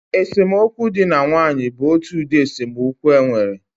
Esemokwu dị na nwaanyị bụ otu ụdị esemokwu e nwere